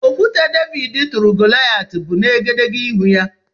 Okwute Devid turu Goloyat bụ n' egedegeihū ya.